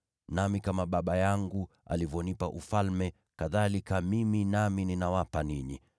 Nami kama Baba yangu alivyonipa ufalme, kadhalika mimi nami ninawapa ninyi,